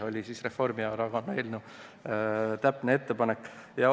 Selline on Reformierakonna täpne ettepanek.